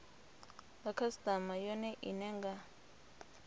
nga khasitama yone ine nga